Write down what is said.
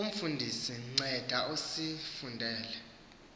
umfundisi nceda usifundele